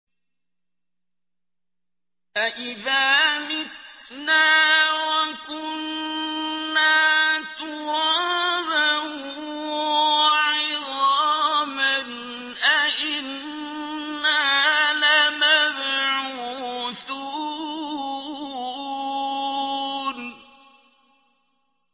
أَإِذَا مِتْنَا وَكُنَّا تُرَابًا وَعِظَامًا أَإِنَّا لَمَبْعُوثُونَ